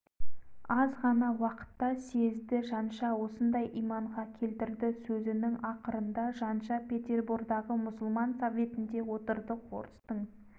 жаншадай ұл жоқ жаншадай ер жоқ тар жол тайғақ кешуде алаш баласын аман алып өтетін жанша